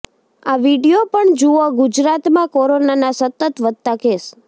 આ વીડિયો પણ જુઓઃ ગુજરાતમાં કોરોનાના સતત વધતા કેસ